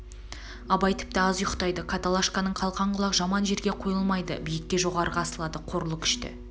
абай тіпті аз ұйықтайды каталашканың қалқан құлақ жаман жерге қойылмайды биікке жоғарыға асылады қорылы күшті